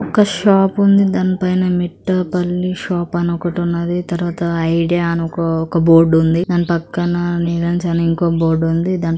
ఒక షాప్ ఉంది దానిపైన మిట్టపల్లి షాప్ అని ఒకటున్నది తర్వాత ఐడియా అని ఒక ఒక బోర్డు ఉంది దాని పక్కన అనే ఇంకో బోర్డు ఉంది.